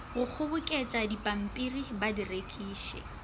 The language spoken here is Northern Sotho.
go kgoboketšadipampiri ba di rekiše